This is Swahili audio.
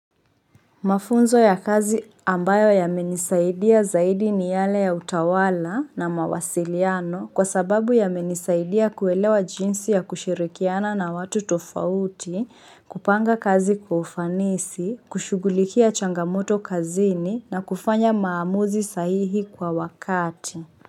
Mafunzo ya kazi ambayo yamenisaidia zaidi ni yale ya utawala na mawasiliano kwa sababu yamenisaidia kuelewa jinsi ya kushirikiana na watu tofauti, kupanga kazi kwa ufanisi, kushughulikia changamoto kazini na kufanya maamuzi sahihi kwa wakati.